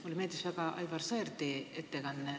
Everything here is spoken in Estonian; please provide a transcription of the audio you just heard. Mulle meeldis väga Aivar Sõerdi ettekanne.